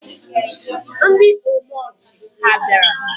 Ndị omeọchị ha bịara?